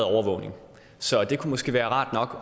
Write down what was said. overvågning så det kunne måske være rart nok